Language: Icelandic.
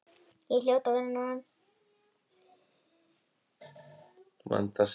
Ég hljóti að vera norn.